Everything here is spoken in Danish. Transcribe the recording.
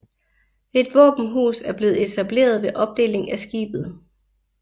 Et våbenhus er blevet etableret ved opdeling af skibet